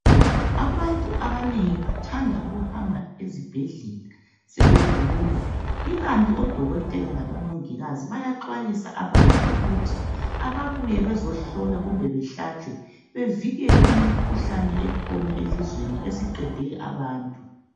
Abantu abanengi bathanda ukuhamba ezibhedlela sebegula, ikanti oDokotela kabo Mongikazi nayaxwayisa abantu ukuthi ababuye bezohlolwa kumbe behlatshwe bevikele imikhuhlane esikhona elizwe esiqede abantu.